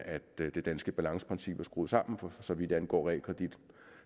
det danske balanceprincip er skruet sammen for så vidt angår realkredit